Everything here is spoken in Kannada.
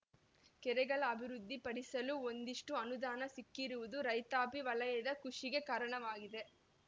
ಕೆರೆಗಳ ಅಭಿವೃದ್ಧಿಪಡಿಸಲು ಒಂದಿಷ್ಟುಅನುದಾನ ಸಿಕ್ಕಿರುವುದು ರೈತಾಪಿ ವಲಯದ ಖುಷಿಗೆ ಕಾರಣವಾಗಿದೆ